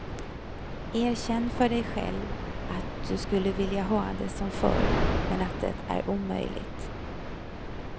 Erkänn för dig själv att du skulle vilja ha det som förr men att det är omöjligt.